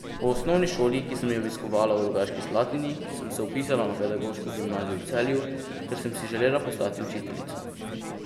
Po osnovni šoli, ki sem jo obiskovala v Rogaški Slatini, sem se vpisala na pedagoško gimnazijo v Celju, ker sem si želela postati učiteljica.